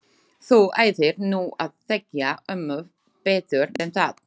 Þú ættir nú að þekkja ömmu betur en það.